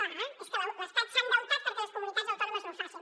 clar és que l’estat s’ha endeutat perquè les comunitats autònomes no ho facin